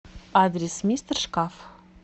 адрес мистер шкаф